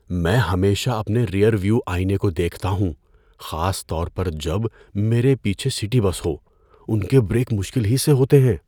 میں ہمیشہ اپنے ریئر ویو آئینے کو دیکھتا ہوں، خاص طور پر جب میرے پیچھے سٹی بس ہو۔ ان کے بریک مشکل ہی سے ہوتے ہیں۔